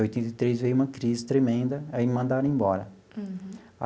Oitenta e três veio uma crise tremenda, aí me mandaram embora. Uhum.